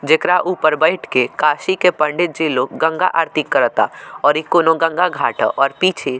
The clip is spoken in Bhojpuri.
जेकरा ऊपर बैठ के काशी के पंडित जी लोग गंगा आरती कराता और इ कोनो गंगा घाट ह और पीछे --